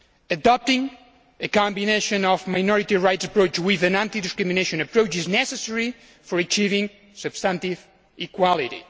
Adopting a combination of a minority rights approach with an anti discrimination approach is necessary for achieving substantive equality.